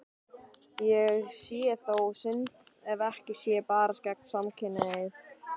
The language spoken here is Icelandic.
Það sé þó synd ef ekki sé barist gegn samkynhneigð.